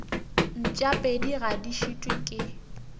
mpšapedi ga di šitwe ke